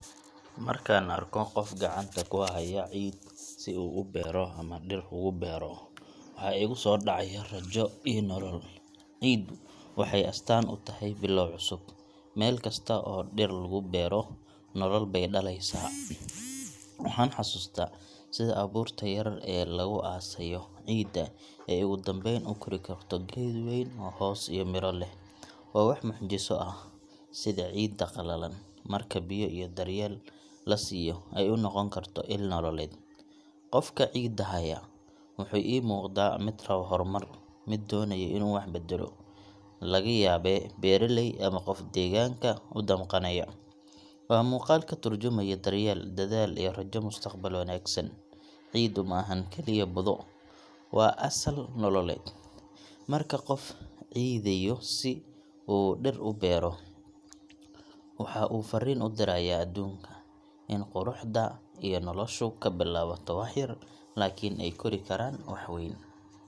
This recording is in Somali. Markaan arko qof gacanta ku haya ciid si uu beero ama dhir ugu abuuro, waxa igu soo dhacaya rajo iyo nolol. Ciiddu waxay astaan u tahay bilow cusub – meel kasta oo dhir lagu abuuro, nolol bay dhalaysaa. Waxaan xasuustaa sida abuurta yar ee lagu aasayo ciidda ay ugu dambayn u kori karto geed wayn oo hoos iyo miro leh. Waa wax mucjiso ah sida ciidda qalalan, marka biyo iyo daryeel la siiyo, ay u noqon karto il nololeed. Qofka ciidda haya, wuxuu ii muuqdaa mid rabo horumar, mid doonaya inuu wax beddelo – laga yaabee beeraley, ama qof deegaanka u damqanaya. Waa muuqaal ka tarjumaya daryeel, dadaal, iyo rajo mustaqbal wanaagsan. Ciiddu ma ahan kaliya budo; waa asal nololeed. Marka qof ciideeyo si uu dhir u beero, waxa uu farriin u dirayaa adduunka – in quruxda iyo noloshu ka bilaabato wax yar, laakiin ay kori karaan wax weyn.